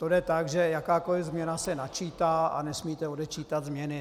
To jde tak, že jakákoli změna se načítá a nesmíte odečítat změny.